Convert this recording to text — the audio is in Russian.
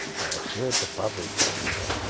всё это падает там ну